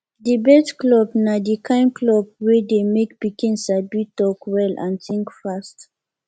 debate club na di kain club wey dey make pikin sabi talk well and think fast